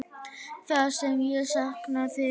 Það sem ég sakna þín.